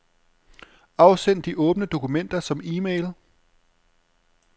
Afsend de åbne dokumenter som e-mail.